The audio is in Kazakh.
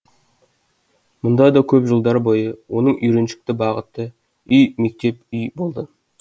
мұнда да көп жылдар бойы оның үйреншікті бағыты үй мектеп үй болды